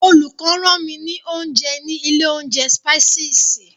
Olùkó rán mi ní oúnjẹ ní ilé oúnjẹ Spices.